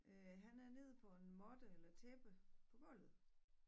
Øh han er nede på en måtte eller tæppe på gulvet